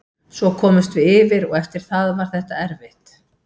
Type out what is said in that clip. Svo komumst við yfir og eftir það var þetta erfitt.